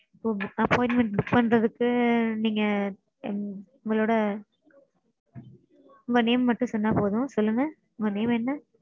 Appointment book பண்றதுக்கு நீங்க உங்களோட உங்க name மட்டும் சொன்னா போதும். சொல்லுங்க உங்க name என்ன?